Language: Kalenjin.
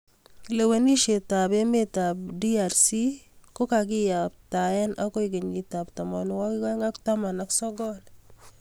lewenishet ab emet ab DRC kokakiyaptae akoe kenyit ab tamanwakik aeng ak taman ak sokol